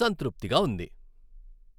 సంతృప్తిగా ఉంది.